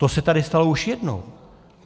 To se tady stalo už jednou.